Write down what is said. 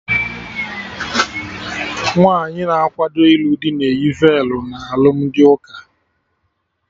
Nwaanyi na akwado ilu dị na-eyi velu na alụmdi ụka